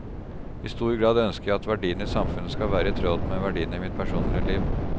I stor grad ønsker jeg at verdiene i samfunnet skal være i tråd med verdiene i mitt personlige liv.